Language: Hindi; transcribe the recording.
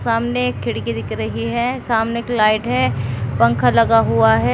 सामने एक खिड़की दिख रही है सामने एक लाइट है पंखा लगा हुआ है।